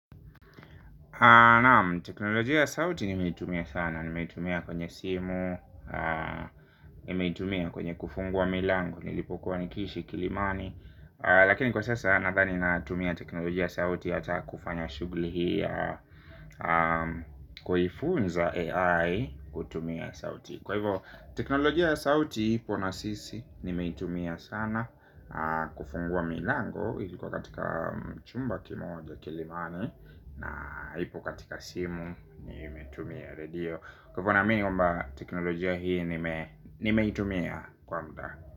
Teknolojia ya sauti nimeitumia sana. Nimeitumia kwenye simu. Nimeitumia kwenye kufungua milango. Nilipokuwa nikiishi kilimani lakini kwa sasa nadhani natumia teknolojia ya sauti. Hata kufanya shughuli hii ya kuifunza AI kutumia sauti kwa hivo teknolojia ya sauti ipo na sisi nimeitumia sana kufungua milango ilikuwa katika chumba kimoja kilimani. Na ipo katika simu nimetumia redio. Kwa hivyo naamini kwamba teknolojia hii nimeitumia kwa muda.